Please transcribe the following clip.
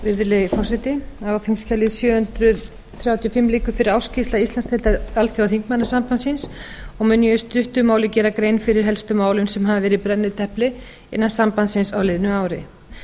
virðulegi forseti á þingskjali sjö hundruð þrjátíu og fimm liggur fyrir ársskýrsla íslandsdeildar alþjóðaþingmannasambandsins og mun ég í stuttu máli gera grein fyrir helstu málum sem hafa verið í brennidepli innan sambandsins á liðnu ári